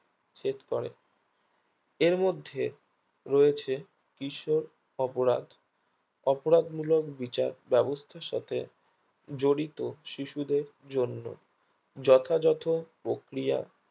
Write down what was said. set করে এর মধ্যে রয়েছে কিশোর অপরাধ অপরাধ মূলক বিচার ব্যাবস্থার সাথে জড়িত শিশুদের জন্য যথাযথ পক্রিয়া